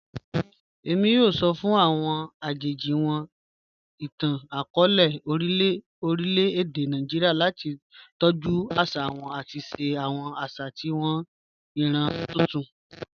Emi yoo sọ fun awọn ajeji awọn itan-akọọlẹ orilẹ-ede Naijiria lati tọju aṣa wa ati ṣe awọn aṣa si awọn iran tuntun.